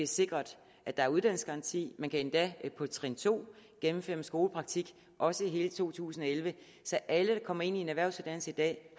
sikret at der er uddannelsesgaranti man kan endda på trin to gennemføre en skolepraktik også i hele to tusind og elleve så alle der kommer ind i en erhvervsuddannelse i dag